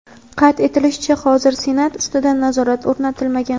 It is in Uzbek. Qayd etilishicha, hozircha Senat ustidan nazorat o‘rnatilmagan.